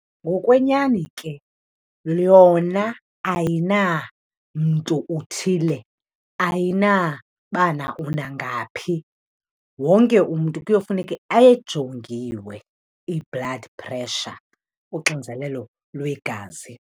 Ngokwenyani ke yona ayinamntu uthile, ayinabana unangaphi. Wonke umntu kuyofuneke ejongiwe i-blood pressure, uxinzelelo lwegazi.